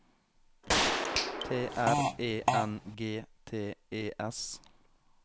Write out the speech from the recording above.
T R E N G T E S